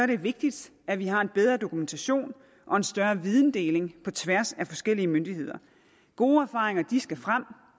det vigtigt at vi har en bedre dokumentation og en større videndeling på tværs af forskellige myndigheder gode erfaringer skal frem og